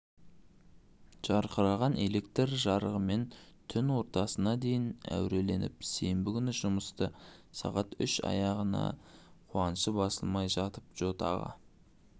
жарқыраған электр жарығымен түн ортасына дейін әуреленіп сенбі күні жұмысты сағат үште аяқтағанына қуанышы басылмай жатып джо тағы